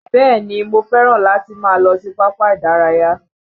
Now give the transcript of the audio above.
Bẹ́ẹ̀ni mo fẹ́ràn láti máa lọ sí pápá ìdárayá